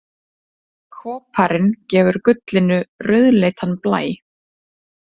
Koparinn gefur gullinu rauðleitan blæ.